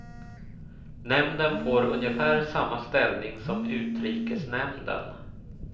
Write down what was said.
Nämnden får ungefär samma ställning som utrikesnämnden.